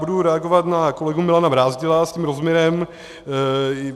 Budu reagovat na kolegu Milana Brázdila s tím rozměrem.